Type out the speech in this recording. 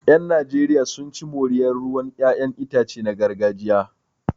Yan Najeriya sun ci moriyar ruwan 'ya'yan itace na gargajiya